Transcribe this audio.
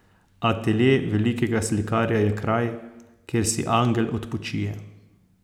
Atelje velikega slikarja je kraj, kjer si angel odpočije.